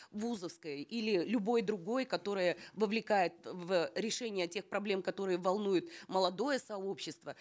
вузовской или любой другой которая вовлекает в решение тех проблем которые волнуют молодое сообщество